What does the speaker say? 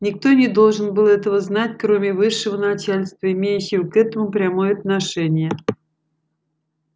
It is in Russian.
никто не должен был этого знать кроме высшего начальства имеющего к этому прямое отношение